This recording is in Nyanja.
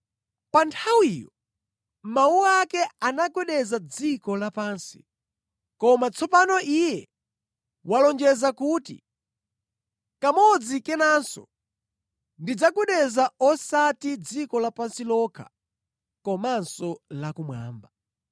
Pa nthawiyo mawu ake anagwedeza dziko lapansi, koma tsopano Iye walonjeza kuti, “Kamodzi kenanso ndidzagwedeza osati dziko lapansi lokha komanso thambo.”